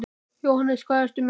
Jóhannes: Hvað ert þú með?